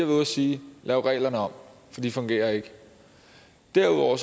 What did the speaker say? ude at sige lav reglerne om for de fungerer ikke derudover